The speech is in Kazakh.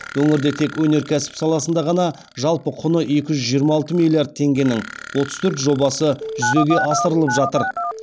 өңірде тек өнеркәсіп саласында ғана жалпы құны екі жүз жиырма алты миллиард теңгенің отыз төрт жобасы жүзеге асырылып жатыр